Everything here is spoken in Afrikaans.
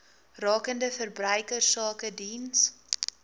rakende verbruikersake diens